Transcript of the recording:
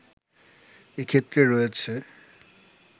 এক্ষেত্রে রয়েছে